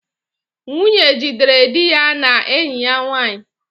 Nwunye jidere di ya na enyi ya nwanyị